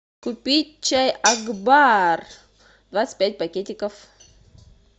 купить чай акбар двадцать пять пакетиков